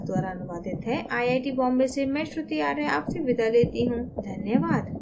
यह स्क्रिप्ट विकास द्वारा अनुवादित है आई आई टी बॉम्बे से मैं श्रुति आर्य आपसे विदा लेती हूँ धन्यवाद